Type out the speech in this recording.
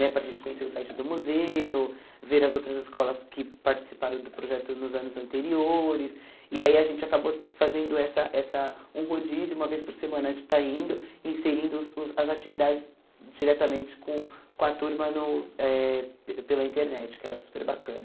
né para a gente conhecer o site do museu, ver as outras escolas que participaram do projeto nos anos anteriores, e aí a gente acabou fazendo essa essa um rodízio, uma vez por semana a gente está indo, inserindo os os as atividades diretamente com com a turma no eh pela internet, que era super bacana.